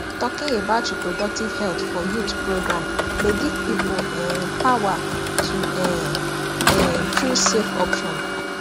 talking about reproductive health for youth program dey give people um power to um um choose safe option